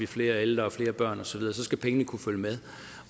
flere ældre og flere børn osv skal pengene kunne følge med